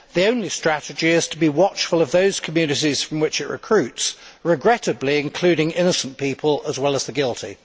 The only strategy is to be watchful of those communities from which it recruits, regrettably, including innocent people as well as the guilty.